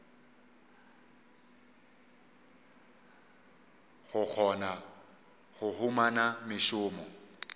go kgona go humana mešomo